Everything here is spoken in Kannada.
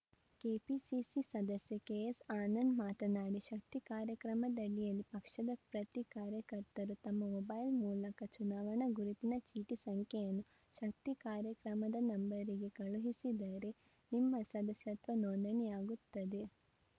ಕೆಪಿಸಿಸಿ ಸದಸ್ಯ ಕೆಎಸ್‌ಆನಂದ್‌ ಮಾತನಾಡಿ ಶಕ್ತಿ ಕಾರ್ಯಕ್ರಮದಡಿಯಲ್ಲಿ ಪಕ್ಷದ ಪ್ರತಿ ಕಾರ್ಯಕರ್ತರು ತಮ್ಮ ಮೊಬೈಲ್‌ ಮೂಲಕ ಚುನಾವಣಾ ಗುರುತಿನ ಚೀಟಿ ಸಂಖ್ಯೆಯನ್ನು ಶಕ್ತಿ ಕಾರ್ಯಕ್ರಮದ ನಂಬರಿಗೆ ಕಳುಹಿಸಿದರೆ ನಿಮ್ಮ ಸದಸ್ಯತ್ವ ನೊಂದಣಿಯಾಗುತ್ತದೆ